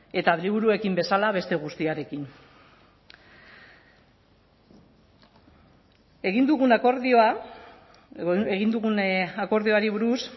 eta liburuekin bezala beste guztiarekin egin dugun akordioari buruz